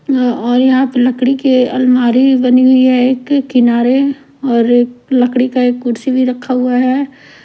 और यहाँ पे लकड़ी के अलमारी बनी हुई है एक किनारे और लकड़ी का एक कुर्सी भी रखा हुआ है ।